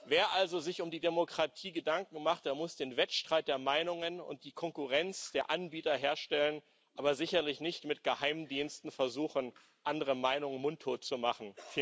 Wer sich also um die Demokratie Gedanken macht, der muss den Wettstreit der Meinungen und die Konkurrenz der Anbieter herstellen, aber sicherlich nicht mit Geheimdiensten versuchen, andere Meinungen mundtot zu machen.